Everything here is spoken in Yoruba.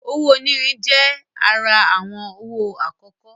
Owó onírin je àrà awọn owo akọkọ